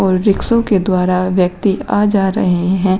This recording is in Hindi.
रिक्शो के द्वारा व्यक्ति आ जा रहे हैं।